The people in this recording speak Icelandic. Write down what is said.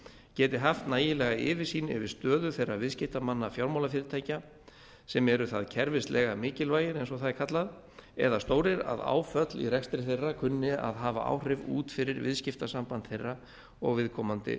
geti haft nægilega yfirsýn yfir stöðu þeirra viðskiptamanna fjármálafyrirtækja sem eru það kerfislega mikilvægir eins og það er kallað eða stórir að áföll í rekstri þeirra kunni að hafa áhrif út fyrir viðskiptasamband þeirra og viðkomandi